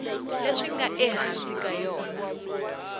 leswi nga ehansi ka yona